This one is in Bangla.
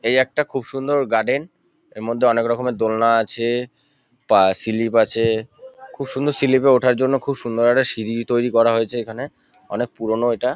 এই একটা খুব সুন্দর গার্ডেন এর মধ্যে অনেক রকমের দোলনা আছেএএ তা স্লিপ আছেএএ খুব সুন্দর স্লিপ -এ ওঠার জন্য খুব সুন্দর একটা সিঁড়ি তৈরী করা হয়েছে এখানে অনেক পুরোনো এটা।